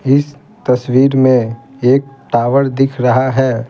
इस तस्वीर में एक टावर दिख रहा है।